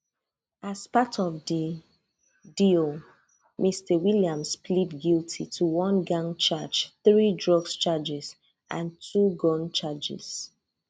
as part of di deal mr williams plead guilty to one gang charge three drug charges and two gun charges